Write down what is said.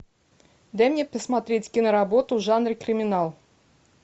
дай мне посмотреть киноработу в жанре криминал